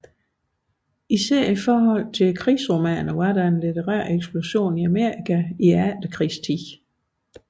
For krigsromanen i særdeleshed var der en litterær eksplosion i Amerika i efterkrigstiden